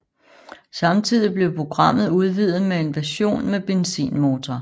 Samtidig blev programmet udvidet med en version med benzinmotor